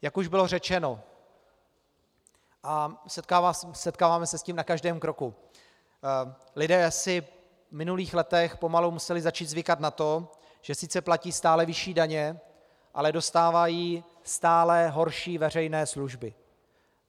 Jak už bylo řečeno, a setkáváme se s tím na každém kroku, lidé si v minulých letech pomalu museli začít zvykat na to, že sice platí stále vyšší daně, ale dostávají stále horší veřejné služby.